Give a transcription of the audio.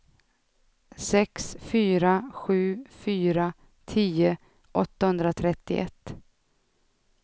sex fyra sju fyra tio åttahundratrettioett